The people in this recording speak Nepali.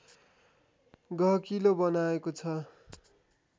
गहकिलो बनाएको छ